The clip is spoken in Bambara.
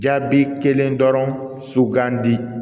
Jaabi kelen dɔrɔn sugandi